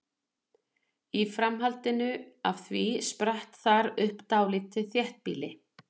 Í framhaldi af því spratt þar upp dálítið þéttbýli.